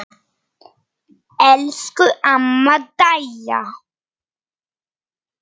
Elsku amma Dæja.